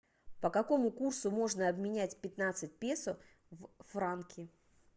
по какому курсу можно обменять пятнадцать песо в франки